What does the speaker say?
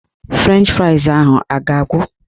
Frenchị frais ahụ a ga-agwụ?